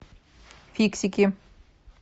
фиксики